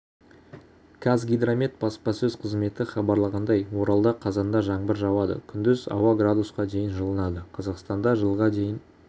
қазгидромет баспасөз қызметі хабарлағандай оралда қазанда жаңбыр жауады күндіз ауа градусқа дейін жылынады қазақстанда жылға дейін